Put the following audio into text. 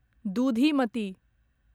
दुधिमति